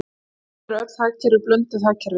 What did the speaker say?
Í raun eru öll hagkerfi blönduð hagkerfi.